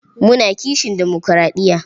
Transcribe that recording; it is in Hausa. Muna kishin demokuraɗiya.